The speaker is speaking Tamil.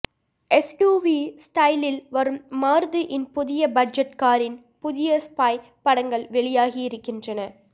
எஸ்யூவி ஸ்டைலில் வரும் மாருதியின் புதிய பட்ஜெட் காரின் புதிய ஸ்பை படங்கள் வெளியாகி இருக்கின்றன